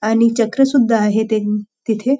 आणि चक्र सुद्धा आहे ते तिथे --